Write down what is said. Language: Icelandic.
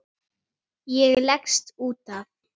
Ég leggst út af.